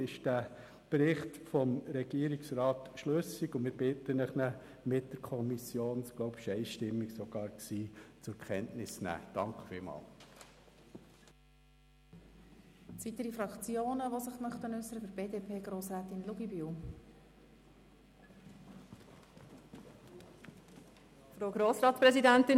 Aus unserer Sicht ist der Bericht des Regierungsrats schlüssig, und wir bitten Sie, diesen gemäss der einstimmigen Empfehlung der Kommission zur Kenntnis zu nehmen.